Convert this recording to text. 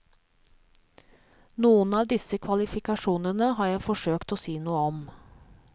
Noen av disse kvalifikasjonene har jeg forsøkt å si noe om.